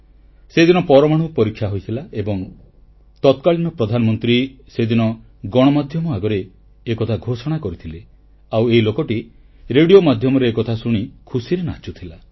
ସେଦିନ ପରମାଣୁ ପରୀକ୍ଷା ହୋଇଥିଲା ଏବଂ ତତ୍କାଳୀନ ପ୍ରଧାନମନ୍ତ୍ରୀ ସେଦିନ ଗଣମାଧ୍ୟମ ଆଗରେ ଏକଥା ଘୋଷଣା କରିଥିଲେ ଆଉ ଏହି ଲୋକଟି ରେଡ଼ିଓ ମାଧ୍ୟମରେ ଏକଥା ଶୁଣି ଖୁସିରେ ନାଚୁଥିଲା